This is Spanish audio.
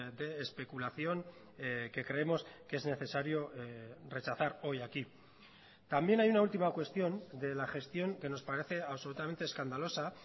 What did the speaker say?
de especulación que creemos que es necesario rechazar hoy aquí también hay una ultima cuestión de la gestión que nos parece absolutamente escandalosa